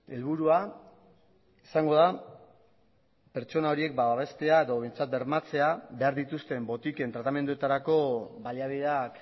helburua izango da pertsona horiek babestea edo behintzat bermatzea behar dituzten botiken tratamenduetarako baliabideak